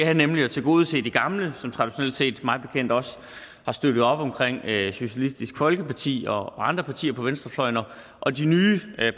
er nemlig at tilgodese de gamle som traditionelt set mig bekendt også har støttet op om socialistisk folkeparti og andre partier på venstrefløjen og de nye